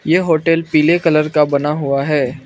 ये होटल पीले कलर का बना हुआ है।